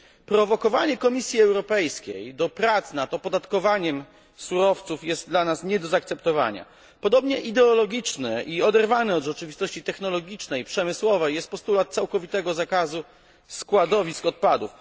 Prowokowanie Komisji Europejskiej do prac nad opodatkowaniem surowców jest dla nas nie do zaakceptowania. Podobnie ideologiczny i oderwany od rzeczywistości technologicznej i przemysłowej jest postulat całkowitego zakazu składowisk odpadów.